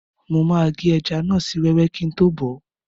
Mo máa gé ẹja náà sí wẹ́wẹ́ kíi tó bọ̀ọ́